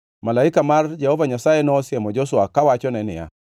Malaika mar Jehova Nyasaye nosiemo Joshua kawachone niya: